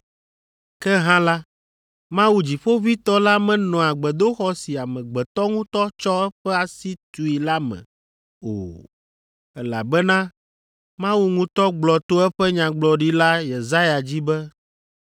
“Ke hã la, Mawu Dziƒoʋĩtɔ la menɔa gbedoxɔ si amegbetɔ ŋutɔ tsɔ eƒe asi tui la me o, elabena Mawu ŋutɔ gblɔ to eƒe Nyagblɔɖila Yesaya dzi be,